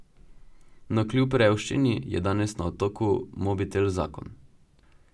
No, kljub revščini je danes na otoku mobitel zakon.